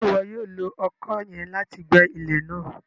Ṣe iwọ yoo lo ọkọ yẹn láti gbẹ ilẹ náà?